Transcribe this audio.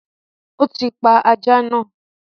O ti pa ajá naa